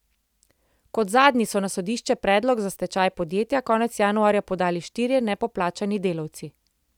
Kot zadnji so na sodišče predlog za stečaj podjetja konec januarja podali štirje nepoplačani delavci.